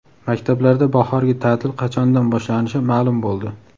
Maktablarda bahorgi ta’til qachondan boshlanishi ma’lum bo‘ldi.